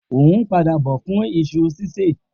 O hun pada bọ fún iṣu sise